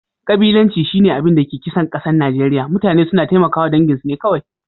Kabilanci shi na abin da ke kisan kasan Nijeriya. Mutane suna taimaka dangin su ne kowai.